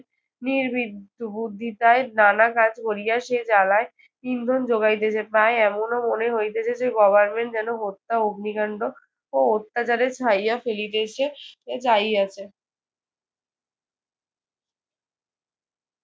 নির্বিষ বুদ্ধিতায় নানা কাজ করিয়া সে জ্বালায় ইন্ধন জোগাইতেছে। তাই এমনও মনে হইতেছে যে government যেন হত্যা, অগ্নিকান্ড ও অত্যাচারে ছাইয়া ফেলিতেছে চাহিয়াছে।